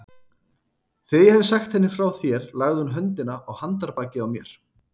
Þegar ég hafði sagt henni frá þér lagði hún höndina á handarbakið á mér.